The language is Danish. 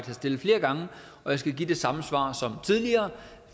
har stillet flere gange og jeg skal give det samme svar som tidligere